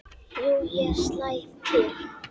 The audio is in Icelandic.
Jú, ég slæ til